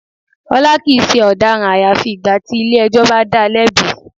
Ọlá kìí ṣe ọ̀daràn àyàfi ìgbà tí ilé ẹjọ́ bá dáa lẹ́bi.